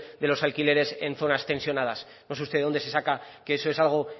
de los alquileres en zonas tensionada no sé usted de dónde se saca que eso es algo